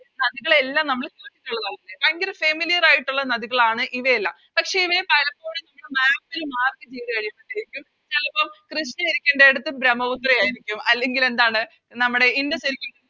നദികളെയെല്ലാം നമ്മള് ഭയങ്കര Familiar ആയിട്ട് ഉള്ള നദിയാണ് ഇവയെല്ലാം പക്ഷെ ഇവയെ പലപ്പോഴും Map ല് Mark ചെയ്ത കഴിയുമ്പത്തേക്കും ചെലപ്പോ കൃഷ്ണ ഇരിക്കണ്ടേടത്ത് ബ്രമ്മപുത്ര ആരിക്കും അല്ലെങ്കിലെന്താണ് നമ്മടെ ഇൻഡസ്